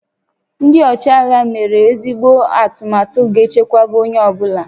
Ndị ọchịagha mere ezigbo atụmatụ ga-echekwa onye ọ bụla